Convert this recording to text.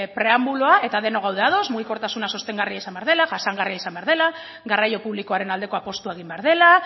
preambuloa eta denok gaude ados mugikortasuna sostengarria izan behar dela jasangarria izan behar dela garraio publikoaren aldeko apustua egin behar dela